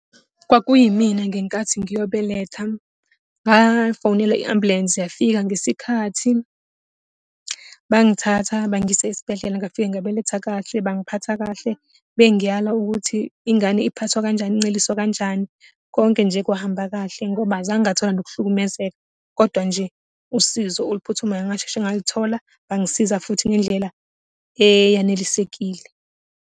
Kwakuyimina ngenkathi ngiyobeletha. Ngafonela i-ambulensi yafika ngesikhathi. Bangithatha bangiyisa esibhedlela, ngafika ngabeletha kahle, bangiphatha kahle. Bengiyala ukuthi ingane iphathwa kanjani, inceliswa kanjani. Konke nje kwahamba kahle, ngoba azange ngathola nokuhlukumezeka. Kodwa nje, usizo oluphuthumayo ngasheshe ngaluthola, bangisiza futhi ngendlela eyanelisekile.